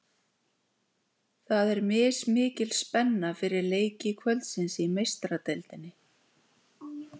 Það er mismikil spenna fyrir leiki kvöldsins í Meistaradeildinni.